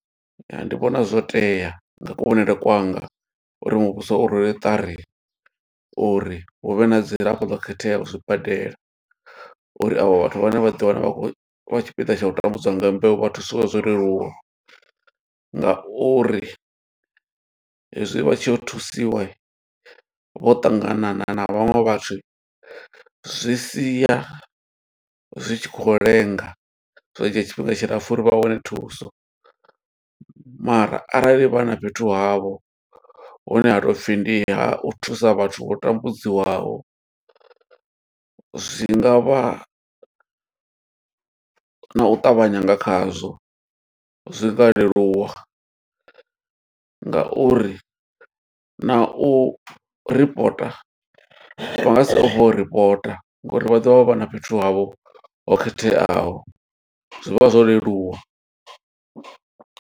Ya ndi vhona zwo tea nga kuvhonele kwanga, uri muvhuso u rwele ṱari uri hu vhe na dzilafho ḽo khetheaho zwibadela. Uri avho vhathu vhane vha ḓi wana vha tshipiḓa tsha u tambudzwa nga mbeu, vha thusiwe zwo leluwa. Nga uri hezwi vha tshi yo thusiwa vho ṱangana na vhaṅwe vhathu zwi sia zwi tshi khou lenga, zwa dzhia tshifhinga tshilapfu uri vha wane thuso. Mara arali vha na fhethu havho hune ha tou pfi ndi ha u thusa vhathu vho tambudzwaho, zwi nga vha na u ṱavhanya nga khazwo. Zwi nga leluwa nga uri na u ripota, vha nga si u ripota ngo uri vha ḓovha vha na fhethu havho ho khetheaho. Zwivha zwo leluwa.